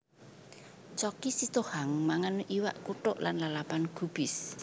Choky Sitohang mangan iwak kuthuk lan lalapan gubis